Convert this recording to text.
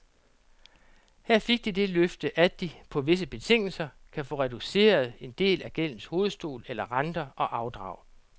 Her fik de det løfte, at de, på visse betingelser, kan få reduceret en del af gældens hovedstol eller renter og afdrag.